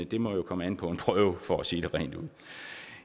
det må jo komme an på en prøve for at sige det rent ud